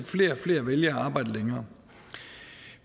flere og flere vælger at arbejde længere